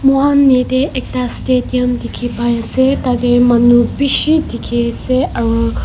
Mokhan yateh ekta stadium dekhe pai ase tatey manu beshi dekhe ase aro--